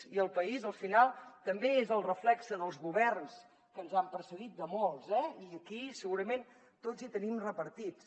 i el país al final també és el reflex dels governs que ens han precedit de molts eh i aquí segurament tots hi tenim repartits